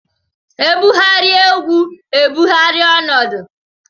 E bugharịa egwu e bugharịa ọnọdụ.